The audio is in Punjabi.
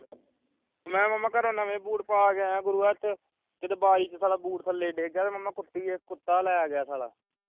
ਮੈਂ ਮਾਮਾ ਘਰੋਂ ਨਵੇਂ ਬੂਟ ਪਾ ਕੇ ਆਜਾ ਗੁਰੂਆ ਏਥੇ ਕਿੱਥੇ ਬਾਰੀ ਚੋਂ ਬੋਝ ਥੱਲੇ ਡਿੱਗ ਗਿਆ ਮਾਮਾ ਕੁੱਤੀ ਏਕ ਕੁੱਤਾ ਲੈ ਗਿਆ ਸਾਲਾ